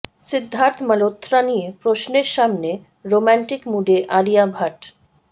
সিদ্ধার্থ মালহোত্রা নিয়ে প্রশ্নের সামনে রোম্যান্টিক মুডে আলিয়া ভাট